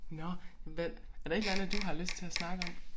Nåh men hvad er der et eller andet du har lyst til at snakke om